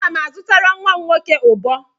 Aga m azụtara nwa nwoke ụbọ.